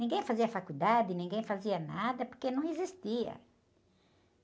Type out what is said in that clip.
Ninguém fazia faculdade, ninguém fazia nada, porque não existia.